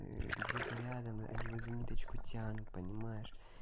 где-то рядом они его за ниточку тянут понимаешь